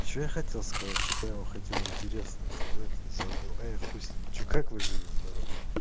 что я хотел сказать что-то я вам хотел интересное сказать и забыл а я хуй с ним что как вы живы здоровы